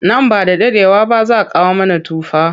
Nan ba da daɗewa ba za kawo mana tufa.